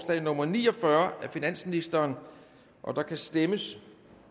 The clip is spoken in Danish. nummer ni og fyrre af finansministeren og der kan stemmes